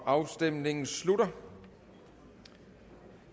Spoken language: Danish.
afstemningen slutter